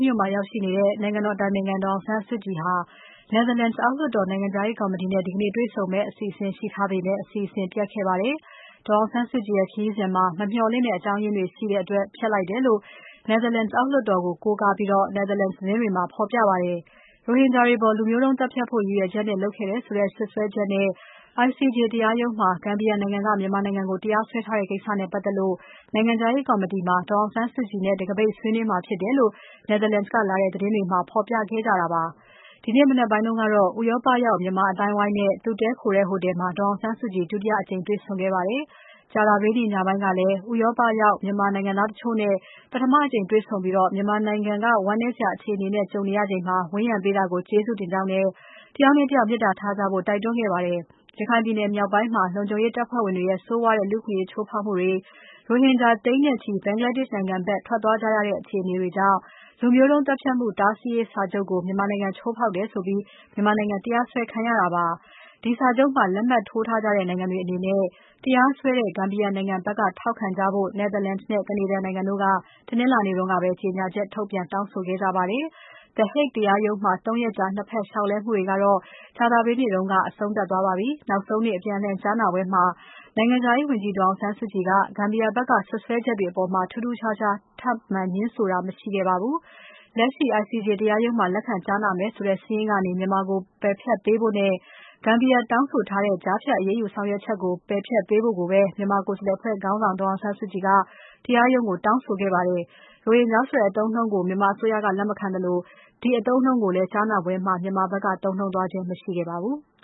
မြို့မှာရောက်နေတဲ့ နိုင်ငံတော်အတိုင်ပင်ခံ ဒေါ်အောင်ဆန်းစုကြည်ဟာ Netherlands အောက်လွှတ်တော် နိုင်ငံခြားရေးကော်မတီနဲ့ ဒီကနေ့ တွေ့ဆုံမယ့် အစီအစဉ်ရှိထားပေမဲ့ အစီအစဉ် ပျက်ခဲ့ပါတယ်။ ဒါပေမဲ့ ဒေါ်အောင်ဆန်းစုကြည်ရဲ့ ခရီးစဉ်မှာ မမျှော်လင့်တဲ့ အကြောင်းအရင်းတွေရှိတဲ့အတွက် ဖျက်လိုက်တယ်လို့ Netherlands အောက်လွှတ်တော်ကို ကိုးကားကားပြီး Netherlands သတင်းတွေမှာ ဖော်ပြပါတယ်။ ရိုဟင်ဂျာတွေအပေါ် လူမျိုးုတုံးသတ်ဖြတ်ဖို့ ရည်ရွယ်ချက်နဲ့ လုပ်ခဲ့တယ်ဆိုတဲ့ စွပ်စွဲချက်နဲ့ ICJ တရားရုံးမှာ Gambia နိုင်ငံက မြန်မာနိုင်ငံကို တရားစွဲတဲ့ကိစ္စနဲ့ ပတ်သက်လို့ နိုင်ငံခြားရေးကော်မတီမှာ ဒေါ်အောင်ဆန်းစုကြည်နဲ့ တံခါးပိတ်ဆွေးနွေးမှာ ဖြစ်တယ်လို့ Netherlands က လာတဲ့သတင်းတွေမှာ ဖော်ပြခဲ့ကြတာပါ။ ဒီနေ့မနက်ပိုင်းကတော့ ဥရောပရောက် မြန်မာအသိုင်းအဝိုင်းနဲ့ သူတည်းခိုတဲ့ ဟိုတယ်မှာ ဒေါ်အောင်ဆန်းစုကြည် ဒုတိယအကြိမ် တေ့ွဆုံခဲ့ပါတယ်။ ကြာသပတေးနေ့ ညနေပိုင်းကလည်း ဥရောပရောက်မြန်မာတချို့နဲ့ ပထမ တကြိမ်တွေ့ဆုံပြီး မြန်မာနိုင်ငံ ဝမ်းနည်းစရာ အခြေအနေနဲ့ ကြုံနေရချိန်မှာ ဝန်းရံပေးတာကို ကျေးဇူးတင်ကြောင်းနဲ့ တယောက်နဲ့ တယောက် မေတ္တာထားကြဖို့ တိုက်တွန်းခဲ့ပါတယ်။ ရခိုင်ပြည်နယ်မြောက်ပိုင်းမှာ လုံခြုံရေးတပ်ဖွဲ့ဝင်တွေရဲ့ ဆိုးဝါးတဲ့ လူ့အခွင့်အရေး ချိုးဖောက်မှုတွေ၊ ရိုဟင်ဂျာသိန်းနဲ့ချီ Bangladesh နိုင်ငံဘက် ထွက်သွားကြရတဲ့ အခြေအနေတွေကြောင့် လူမျိုးတုန်းသတ်ဖြတ်မှု တားဆီးရေးစာချုပ်ကို မြန်မာနိုင်ငံချိုးဖောက်တယ်ဆိုပြီး မြန်မာနိုင်ငံ တရားစွဲခံရတာပါ။ ဒီစာချုပ်မှာ လက်မှတ်ထိုးထားကြတဲ့ နိုင်ငံတွေအနေနဲ့ တရားစွဲတဲ့ Gambia နိုင်ငံဘက်က ထောက်ခံကြဖို့ Netherlands နဲ့ Canada နိုင်ငံတို့က တနင်္လာနေ့ကပဲ ကြေညာချက်ထုတ်ပြန် တောင်းဆိုခဲ့ကြပါတယ်။ The Hague တရားရုံးမှာ ၃ ရက်ကြာ ၂ ဘက် လျှောက်လဲမှုတွေကတော့ ကြာသပတေးနေ့က အဆုံးသတ်သွားပါပြီ။ နောက်ဆုံးနေ့ အပြန်အလှန်ကြားနာပွဲမှာ နိုင်ငံခြားရေးဝန်ကြီး ဒေါ်အောင်ဆန်းစုကြည်က Gambia ဘက်က စွပ်စွဲချက်တွေအပေါ်မှာ ထူးထူးခြားခြား ထပ်ငြင်းဆိုခဲ့တာမရှိခဲ့ပါဘူး။ လက်ရှိ ICJ တရားရုံးမှာ လက်ခံကြားနာမယ်ဆိုတဲ့ စာရင်းကနေ မြန်မာကို ပယ်ဖျက်ပေးဖို့နဲ့၊ Gambia တောင်းဆိုထားတဲ့ ကြားဖြတ်အရေးယူဆောင်ရွက်ချက်ကို ပယ်ဖျက်ပေးဖို့ကိုပဲ မြန်မာကိုယ်စားလှယ် အဖွဲ့ခေါင်းဆောင် ဒေါ်အောင်ဆန်းစုကြည်က တရားရုံးကို တောင်းဆိုခဲ့ပါတယ်။ ရိုဟင်ဂျာဆိုတဲ့အသုံးအနှုန်းကို မြန်မာအစိုးရက လက်မခံသလို ဒီအသုံးအနှုန်းကိုလည်း ကြားနာပွဲမှာ မြန်မာဘက်က သုံးနှုန်းသွားခြင်း မရှိခဲ့ပါဘူး။